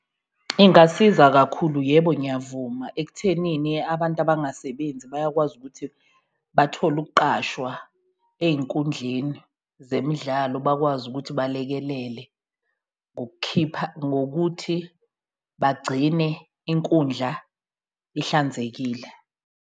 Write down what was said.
Ingasiza kakhulu yebo ngiyavuma, ekuthenini abantu abangasebenzi bayakwazi ukuthi bathole ukuqashwa ey'nkundleni zemidlalo bakwazi ukuthi balekelele, ngokukhipha ngokuthi bagcine inkundla ihlanzekile.